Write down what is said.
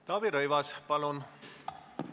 Taavi Rõivas, palun!